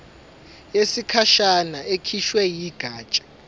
yesikhashana ekhishwe yigatsha